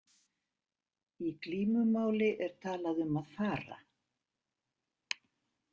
Í glímumáli er talað um að fara.